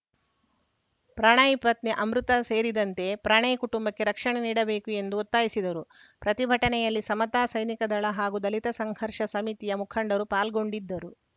ಪ್ರಣಯ್‌ ಪತ್ನಿ ಅಮೃತ ಸೇರಿದಂತೆ ಪ್ರಣಯ್‌ ಕುಟುಂಬಕ್ಕೆ ರಕ್ಷಣೆ ನೀಡಬೇಕು ಎಂದು ಒತ್ತಾಯಿಸಿದರು ಪ್ರತಿಭಟನೆಯಲ್ಲಿ ಸಮತಾ ಸೈನಿಕ ದಳ ಹಾಗೂ ದಲಿತ ಸಂಘರ್ಷ ಸಮಿತಿಯ ಮುಖಂಡರು ಪಾಲ್ಗೊಂಡಿದ್ದರು